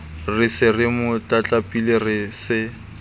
re se mo tlatlapile se